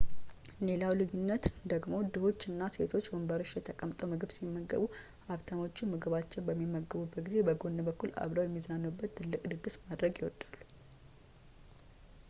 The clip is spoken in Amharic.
ሌላው ልዩነት ደግሞ ድሆቹ እና ሴቶቹ ወንበሮች ላይ ተቀምጠው ምግብ ሲመገቡ ሀብታሞቹ ምግባቸውን በሚመገቡበት ጊዜ በጎን በኩል አብረው የሚዝናኑበት ትልቅ ድግስ ማድረግ ይወዳሉ